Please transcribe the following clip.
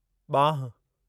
ॿांहुं